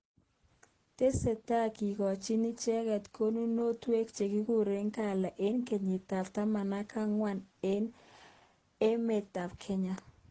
tesetai kikochini icheket kunonuiwek chekikure gala enge kenyit ab tamanwagik aeng aka aeng eng emet ab Kenya.